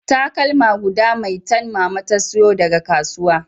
Takalma guda maitan mama ta sayo daga kasuwa